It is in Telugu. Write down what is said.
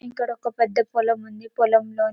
ఇక్కడ ఒక్క పెద్ద పొలం ఉంది పొలం లో --